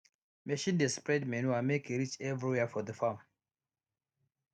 machine dey spread manure make e reach everywhere for the farm